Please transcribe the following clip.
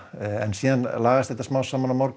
en svo lagast þetta á morgun